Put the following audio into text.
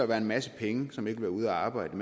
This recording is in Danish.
være en masse penge som ikke vil være ude at arbejde